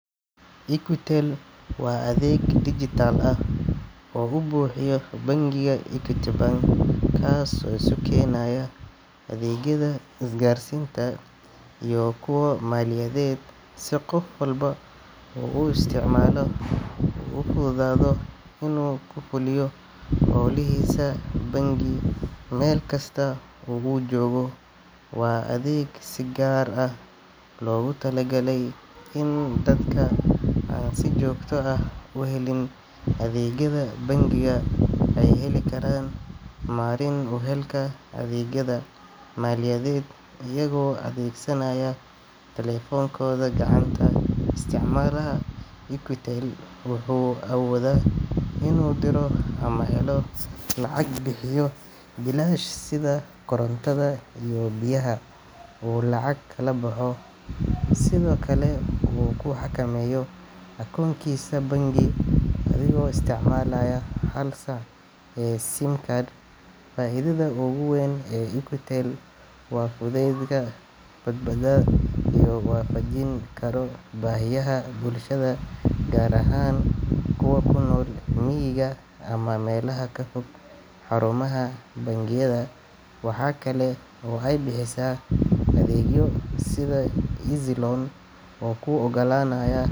Equitel waa adeeg dijitaal ah oo uu bixiyo bangiga Equity Bank, kaas oo isu keenaya adeegyada isgaarsiinta iyo kuwa maaliyadeed si qof walba oo isticmaala uu ugu fududaado inuu ku fuliyo hawlihiisa bangi meel kasta oo uu joogo. Waa adeeg si gaar ah loogu talagalay in dadka aan si joogto ah u helin adeegyada bangiga ay heli karaan marin u helka adeegyada maaliyadeed iyagoo adeegsanaya taleefankooda gacanta. Isticmaalaha Equitel wuxuu awoodaa inuu diro ama helo lacag, bixiyo biilasha sida korontada iyo biyaha, uu lacag kala baxo, sidoo kalena uu ku xakameeyo akoonkiisa bangi adigoo isticmaalaya hal SIM card. Faa’iidada ugu weyn ee Equitel waa fudaydka, badbaadada iyo in la waafajin karo baahiyaha bulshada, gaar ahaan kuwa ku nool miyiga ama meelaha ka fog xarumaha bangiyada. Waxa kale oo ay bixisaa adeegyo sida EazzyLoan oo kuu oggolaanaya.